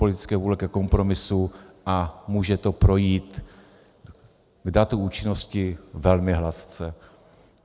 Politické vůle ke kompromisu a může to projít k datu účinnosti velmi hladce.